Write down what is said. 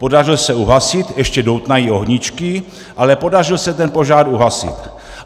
Podařil se uhasit, ještě doutnají ohníčky, ale podařil se ten požár uhasit.